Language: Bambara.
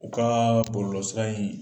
U kaaa bɔlɔlɔ sira in